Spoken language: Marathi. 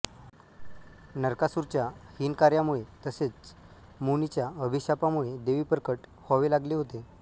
नरकासुराच्या हीन कार्यामुळे तसेच मुनीच्या अभिशापामुळे देवी प्रकट व्हावे लागले होते